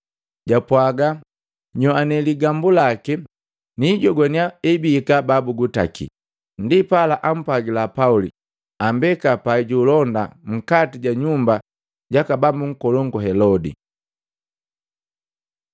japwaaga, “Nyoane ligambu laki niijogwania ebiika babugutaki.” Ndipala ampwagila Pauli ambeka pai juulonda nkati ja nyumba jaka bambu nkolongu Helodi.